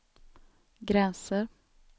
gränser